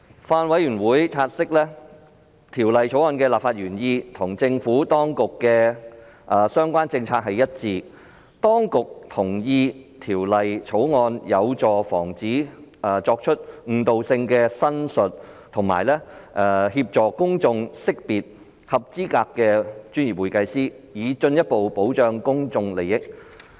法案委員會察悉，《條例草案》的立法原意與政府當局的相關政策一致；當局同意《條例草案》有助防止作出具誤導性的申述，以及協助公眾識別合資格的專業會計師，以進一步保障公眾利益。